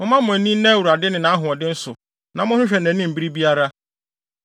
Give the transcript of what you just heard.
Momma mo ani nna Awurade ne nʼahoɔden so; na monhwehwɛ nʼanim bere biara.